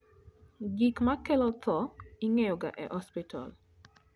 gik ma kelo tho ingeyoga e osiptal